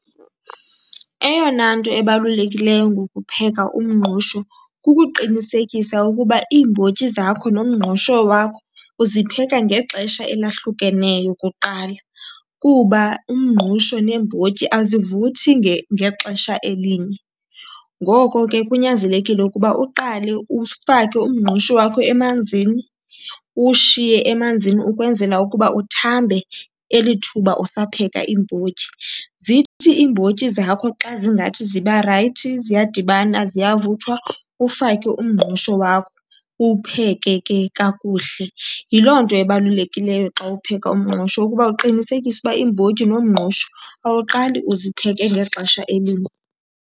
Eyona nto ebalulekileyo ngokupheka umngqusho kukuqinisekisa ukuba iimbotyi zakho nomngqusho wakho uzipheka ngexesha elahlukeneyo kuqala, kuba umngqusho neembotyi azivuthi ngexesha elinye. Ngoko ke kunyanzelekile ukuba uqale ufake umngqusho wakho emanzini, uwushiye emanzini ukwenzela ukuba uthambe elithuba usapheka iimbotyi. Zithi iimbotyi zakho xa zingathi ziba rayithi ziyadibana ziyavuthwa ufake umngqusho wakho, uwupheke ke kakuhle. Yiloo nto ebalulekileyo xa upheka umngqusho, ukuba uqinisekise ukuba iimbotyi nomngqusho awuqali uzipheke ngexesha elinye.